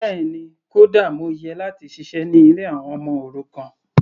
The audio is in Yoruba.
Bẹ́ẹ̀ni, kódà mo yẹ láti ṣiṣẹ́ ní ilé àwọn ọmọ òrukàn.